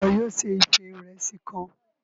Ṣe iwọ yóò se ife Ìrẹsí kàn?